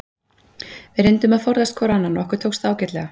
Við reyndum að forðast hvor annan og okkur tókst það ágætlega.